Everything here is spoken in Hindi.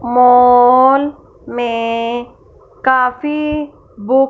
मॉल में काफी बुक --